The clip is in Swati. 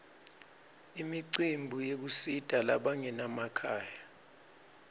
imicimbi yekusita labanganamakhaya